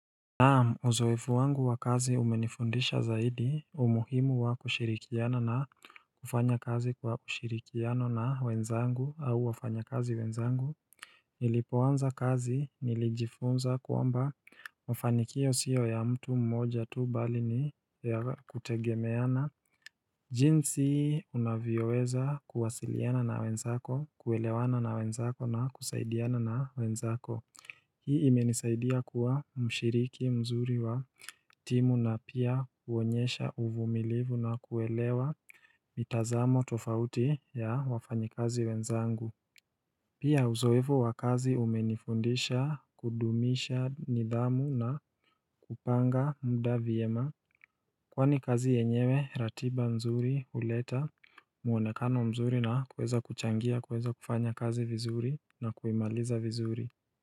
Na uzoefu wangu wa kazi umenifundisha zaidi umuhimu wa kushirikiana na kufanya kazi kwa ushirikiano na wenzangu au wafanyakazi wenzangu Nilipoanza kazi nilijifunza kuomba mfanikio sio ya mtu mmoja tu bali ni ya kutegemeana jinsi unavyoweza kuwasiliana na wenzako kuelewana na wenzako na kusaidiana na wenzako Hii imenisaidia kuwa mshiriki mzuri wa timu na pia huonyesha uvumilivu na kuelewa mitazamo tofauti ya wafanyikazi wenzangu Pia uzoevu wa kazi umenifundisha kudumisha nidhamu na kupanga mda vyema Kwani kazi yenyewe ratba nzuri huleta mwonekano mzuri na kueza kuchangia kueza kufanya kazi vizuri na kuimaliza vizuri.